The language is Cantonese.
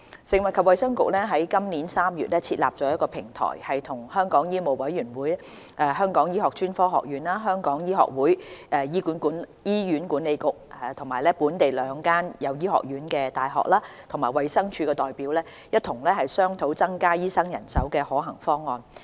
食物及衞生局於今年3月設立了平台，與香港醫務委員會、香港醫學專科學院、香港醫學會、醫院管理局、本地兩間設有醫學院的大學和衞生署的代表共同商討增加醫生人手的可行方案。